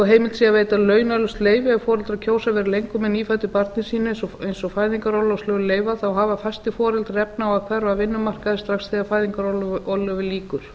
heimilt sé að veita launalaust leyfi ef foreldrar kjósa að vera lengur með nýfæddu barni sínu eins og fæðingarorlofslög leyfa þá hafa fæstir foreldrar efni á að hverfa af vinnumarkaði strax þegar fæðingarorlofi lýkur